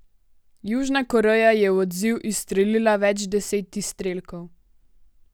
Južna Koreja je v odziv izstrelila več deset izstrelkov.